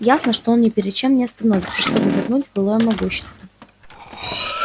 ясно что он ни перед чем не остановится чтобы вернуть былое могущество